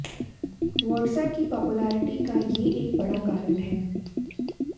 watts app की पॉपुलरिटी का ये एक बड़ा कारण है